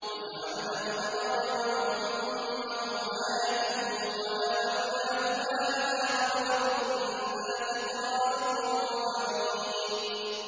وَجَعَلْنَا ابْنَ مَرْيَمَ وَأُمَّهُ آيَةً وَآوَيْنَاهُمَا إِلَىٰ رَبْوَةٍ ذَاتِ قَرَارٍ وَمَعِينٍ